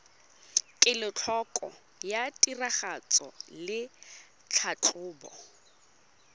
kelotlhoko ya tiragatso le tlhatlhobo